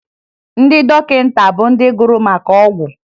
Ndị dọkịta bụ ndị gụrụ maka ọgwụ